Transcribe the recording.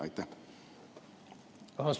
Vabandust!